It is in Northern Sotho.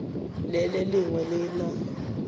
le le lengwe le na